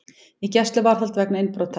Í gæsluvarðhald vegna innbrota